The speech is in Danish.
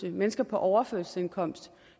er mennesker på overførselsindkomst